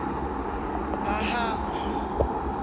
phahana